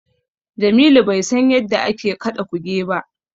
Jamilu bai san yadda ake kaɗa Kuge ba.